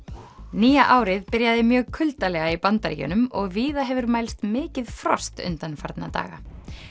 Nýja árið byrjaði mjög kuldalega í Bandaríkjunum og víða hefur mælst mikið frost undanfarna daga